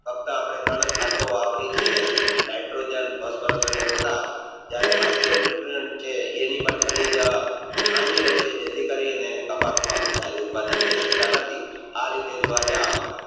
ફકત આપણે ત્રણ જ ખતરો વાપરીએ છીએ Nitrogen જેથી અપને કપાસ નું પણ ધાર્યું ઉત્પાદ લાય સકતા નથી